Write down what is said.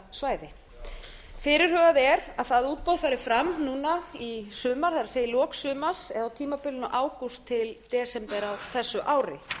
drekasvæði fyrirhugað er að það útboð fari fram núna í sumar það er í lok sumars eða á tímabilinu ágúst til desember á þessu ári